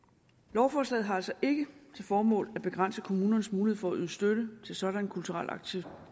lovforslaget har altså ikke til formål at begrænse kommunernes mulighed for at yde støtte til sådanne kulturelle aktiviteter